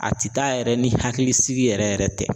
A ti taa yɛrɛ ni hakilisigi yɛrɛ yɛrɛ tɛ